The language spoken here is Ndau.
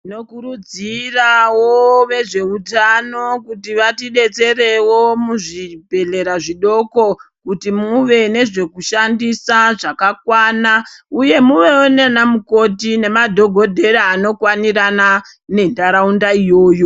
Tino kurudziravo ve zveutano kuti vati detserewo mu zvibhedhlera zvidoko kuti muve ne zvoku shandisa zvakakwana uye muvevo nana mukoti ne madhokodhera ano kwanirana ne ndaraunda iyoyo.